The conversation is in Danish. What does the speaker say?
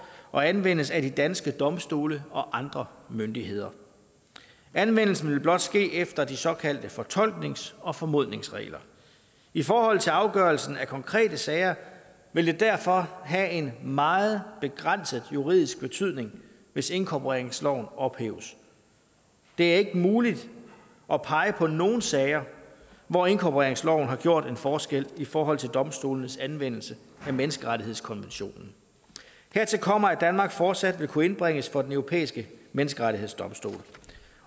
og anvendes af de danske domstole og andre myndigheder anvendelsen vil blot ske efter de såkaldte fortolknings og formodningsregler i forhold til afgørelsen af konkrete sager vil det derfor have en meget begrænset juridisk betydning hvis inkorporeringsloven ophæves det er ikke muligt at pege på nogen sager hvor inkorporeringsloven har gjort en forskel i forhold til domstolenes anvendelse af menneskerettighedskonventionen hertil kommer at danmark fortsat vil kunne indbringes for den europæiske menneskerettighedsdomstol